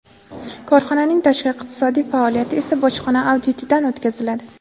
Korxonaning tashqi iqtisodiy faoliyati esa bojxona auditidan o‘tkaziladi.